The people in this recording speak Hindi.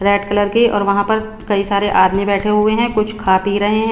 रेड कलर की और वहाँ पर कई सारे आदमी बैठे हुए है कुछ खा पी रहे है।